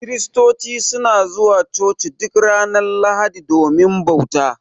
Kiristoci suna zuwa Coci duk ranar Lahadi domin bauta.